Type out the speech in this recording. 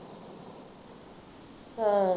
ਹਾਂ